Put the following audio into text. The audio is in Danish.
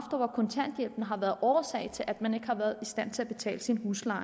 over kontanthjælpen har været årsag til at man ikke har været i stand til at betale sin husleje